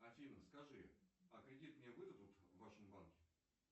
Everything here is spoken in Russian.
афина скажи а кредит мне выдадут в вашем банке